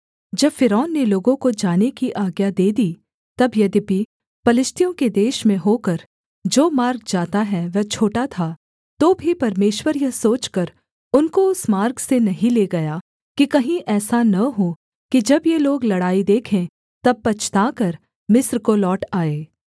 जब फ़िरौन ने लोगों को जाने की आज्ञा दे दी तब यद्यपि पलिश्तियों के देश में होकर जो मार्ग जाता है वह छोटा था तो भी परमेश्वर यह सोचकर उनको उस मार्ग से नहीं ले गया कि कहीं ऐसा न हो कि जब ये लोग लड़ाई देखें तब पछताकर मिस्र को लौट आएँ